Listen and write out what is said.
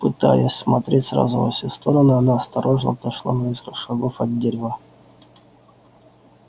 пытаясь смотреть сразу во все стороны она осторожно отошла на несколько шагов от дерева